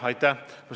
Aitäh!